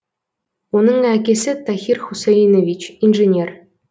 оның әкесі тахир хусаинович инженер